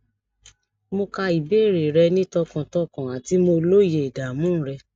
mo ka ìbéèrè rẹ ni tọkàntọkàn ati mo lóye ìdààmú rẹ